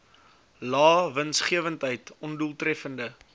lae winsgewendheid ondoeltreffende